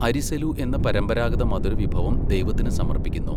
അരിസെലു എന്ന പരമ്പരാഗത മധുരവിഭവം ദൈവത്തിന് സമർപ്പിക്കുന്നു.